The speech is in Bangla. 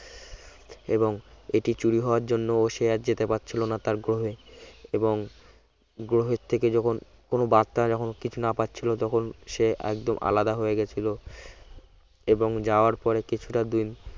এবং এটি চুরি হওয়ার জন্য সে আর যেতে পারছিল না তার গ্রহে এবং গ্রহের থেকে যখন কোন বার্তা যখন কিছু না পাচ্ছিল তখন সে একদম আলাদা হয়ে গেছিল এবং যাওয়ার পরে কিছুটা দিন